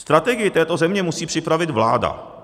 Strategii této země musí připravit vláda.